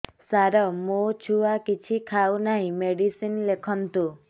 ସାର ମୋ ଛୁଆ କିଛି ଖାଉ ନାହିଁ ମେଡିସିନ ଲେଖନ୍ତୁ